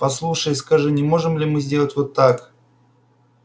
послушай и скажи не можем ли мы сделать вот как